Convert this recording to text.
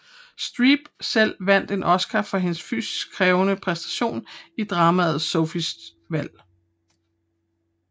Streep selv vandt en Oscar for hendes fysisk krævende præstation i dramaet Sophies valg